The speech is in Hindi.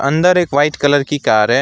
अंदर एक वाइट कलर की कार है।